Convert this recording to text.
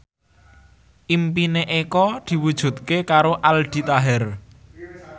impine Eko diwujudke karo Aldi Taher